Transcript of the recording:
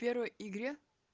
в первой игре